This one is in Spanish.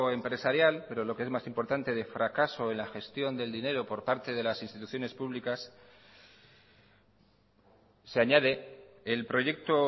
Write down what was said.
empresarial pero lo que es más importante de fracaso en la gestión del dinero por parte de las instituciones públicas se añade el proyecto